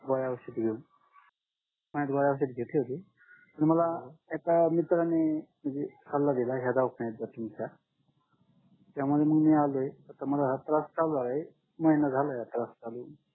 गोळ्या औषध घेऊन आणि गोळ्या औषधे तिथे ठेवली की मला एका मित्राने म्हणजे सल्ला दिला या दवाखान्यात जा तुमच्या त्यामुळे मग मी आलोय तर मला त्रास चालू झालाय महिना झालाय आता चालू होऊन